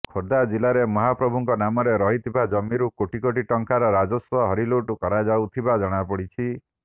ଖୋର୍ଦ୍ଧା ଜିଲ୍ଲାରେ ମହାପ୍ରଭୁଙ୍କ ନାମରେ ରହିଥିବା ଜମିରୁ କୋଟି କୋଟି ଟଙ୍କାର ରାଜସ୍ୱ ହରିଲୁଟ୍ କରାଯାଉଥିବା ଜଣାପଡ଼ିଛି